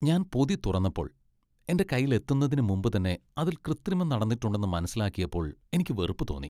ഞാൻ പൊതി തുറന്നപ്പോൾ, എന്റെ കയ്യിൽ എത്തുന്നതിന് മുമ്പ് തന്നെ അതിൽ കൃത്രിമം നടന്നിട്ടുണ്ടെന്ന് മനസ്സിലാക്കിയപ്പോൾ എനിക്ക് വെറുപ്പ് തോന്നി.